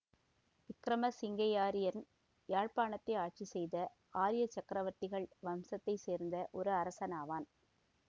விக்கிரம சிங்கையாரியன் யாழ்ப்பாணத்தை ஆட்சி செய்த ஆரியச் சக்கரவர்த்திகள் வம்சத்தை சேர்ந்த ஒரு அரசனாவான்